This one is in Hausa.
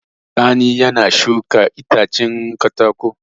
Sani ne ya shuka itacen katako.